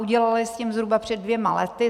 Udělali s tím zhruba před dvěma lety.